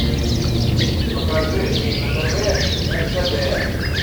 покажи на тв ртд